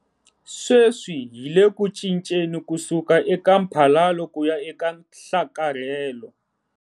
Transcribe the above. Sweswi hi le ku cinceni ku suka eka mphalalo kuya eka nhlakarhelo.